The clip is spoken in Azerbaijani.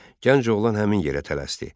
Gənc oğlan həmin yerə tələsdi.